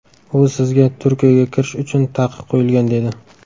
U sizga Turkiyaga kirish uchun taqiq qo‘yilgan dedi.